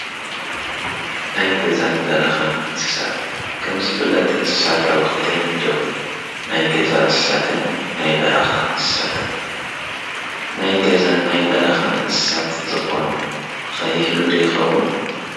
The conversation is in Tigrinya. ናይ ገዛን በረኻን እንስሳት ከም ዝፍለጥ እንስሳት ኣብ ኽልተ ይምደቡ፡፡ ናይ ገዛ እንስትን ናይ በረኻ እንስሳትን፣ ናይ ገዛን ናይ በረኻን እንስሳት ዝኾነ ኸ ይህሉ ዶ ይኸዉን?